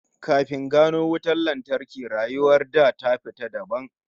Kafin gano wutar lantarki, rayuwar da ta fita dabam